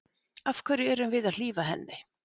Af hverju erum við að hlífa henni?